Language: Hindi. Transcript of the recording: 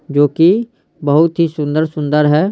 जो कि बहुत ही सुंदर- सुंदर है।